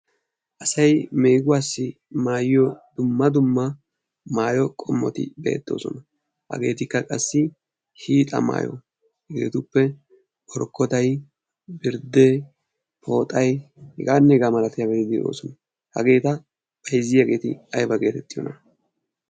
Asay meeguwassi maayyiyo dumma dumma maayyo qommoti beettoosona. Hagetikka qassi hiixa maayyo hagetuppe borkkotay, birdde, pooxay heganne hega malatiyaageeti de'oosona. Hageeta bayzziyaageeti aybba geetettiyoona?